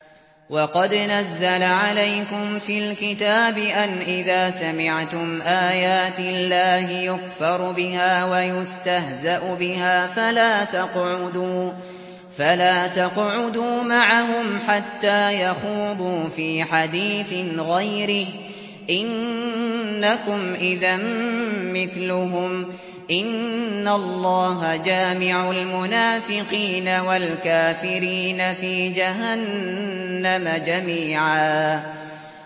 وَقَدْ نَزَّلَ عَلَيْكُمْ فِي الْكِتَابِ أَنْ إِذَا سَمِعْتُمْ آيَاتِ اللَّهِ يُكْفَرُ بِهَا وَيُسْتَهْزَأُ بِهَا فَلَا تَقْعُدُوا مَعَهُمْ حَتَّىٰ يَخُوضُوا فِي حَدِيثٍ غَيْرِهِ ۚ إِنَّكُمْ إِذًا مِّثْلُهُمْ ۗ إِنَّ اللَّهَ جَامِعُ الْمُنَافِقِينَ وَالْكَافِرِينَ فِي جَهَنَّمَ جَمِيعًا